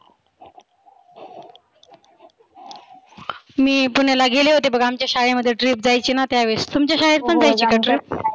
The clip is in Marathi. मी पुण्याला गेले होते बघा आमच्या शाळेमध्ये trip जायचीना त्यावेळेस तुमच्या शाळेत पण जायची का trip?